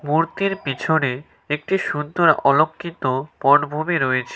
মূর্তির পিছনে একটি সুন্দর অলক্ষিত বনভূমি রয়েছে।